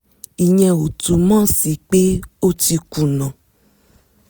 ìyẹn ò túmọ̀ sí pé o ti kùnà